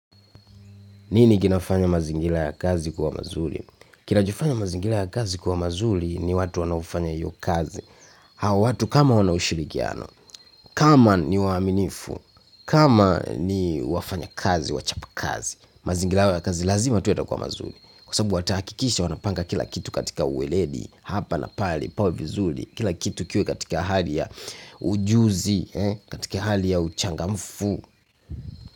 Nini kinafanya mazingira ya kazi kuwa mazuri? Kinachofanya mazingira ya kazi kuwa mazuri ni watu wanaofanya hiyo kazi. Hawa watu kama wana ushirikiano, kama ni waaminifu, kama ni wafanya kazi, wachapa kazi. Mazingira hayo ya kazi lazima tu yatakuwa mazuri. Kwa sababu watahakikisha wanapanga kila kitu katika uweledi, hapa na pali, pawe vizuri. Kila kitu kiwe katika hali ya ujuzi, katika hali ya uchangamfu.